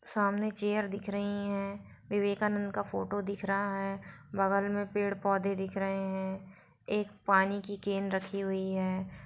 सामने चेयर दिख रही है विवेकानंद का फोटो दिख रहा है बगल में पेड़-पौधे दिख रहे है एक पानी की कैन रखी हुई है।